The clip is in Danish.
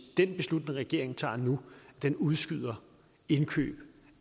den beslutning regeringen tager nu udskyder indkøb